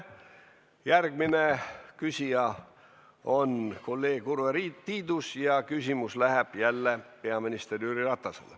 Järgmine küsija on kolleeg Urve Tiidus ja küsimus läheb jälle peaminister Jüri Ratasele.